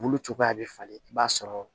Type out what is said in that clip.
Bulu cogoya bɛ falen i b'a sɔrɔ